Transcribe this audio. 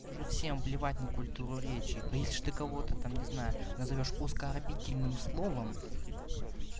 уже всем плевать на культуру речи а если же ты кого-то там не знаю назовёшь оскорбительным словом